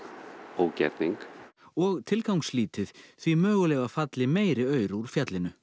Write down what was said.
ógerning og tilgangslítið því mögulega falli meiri aur úr fjallinu